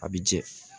A bi jɛ